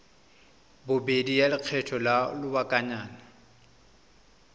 bobedi ya lekgetho la lobakanyana